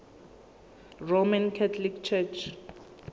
roman catholic church